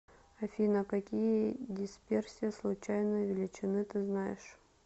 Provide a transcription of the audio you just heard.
афина какие дисперсия случайной величины ты знаешь